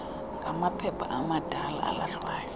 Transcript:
ngamaphepha amadala alahlwayo